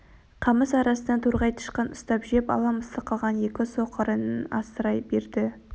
қамыс арасынан торғай тышқан ұстап жеп ала мысық қалған екі соқырын асырай берді